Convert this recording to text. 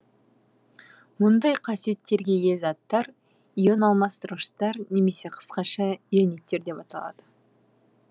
мұндай қасиеттерге ие заттар ионалмастырғыштар немесе қысқаша иониттер деп аталады